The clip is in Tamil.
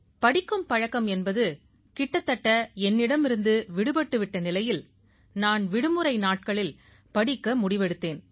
படிக்கும் பழக்கம் என்பது கிட்டத்தட்ட என்னிடமிருந்து விடுபட்டு விட்ட நிலையில் நான் விடுமுறை நாட்களில் படிக்க முடிவெடுத்தேன்